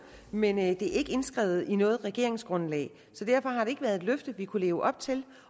men det er ikke indskrevet i noget regeringsgrundlag så derfor har det ikke være et løfte vi kunne leve op til